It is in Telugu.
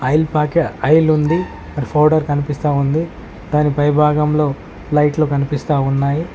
ఆయిల్ ప్యాక ఆయిల్ ఉంది అండ్ ఫౌడర్ కనిపిస్తా ఉంది దాని పై భాగంలో లైట్లు కనిపిస్తా ఉన్నాయ్.